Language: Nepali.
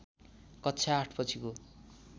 कक्षा ८ पछिको